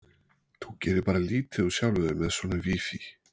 Þú gerir bara lítið úr sjálfum þér með svona vífi